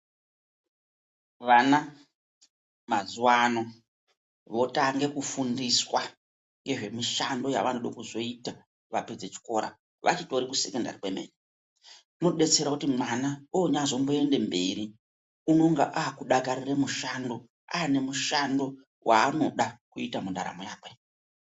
Vana mazuva ano votange kufundiswa ngezvemishando yavanode kuzoita vapedze chikora, vachitori kusekondari kwemene kunobetsera kuti mwana onyaazomboende mberi unonga aakudakarire mushando aane mushando waanoda kuita mundaramo yakwe.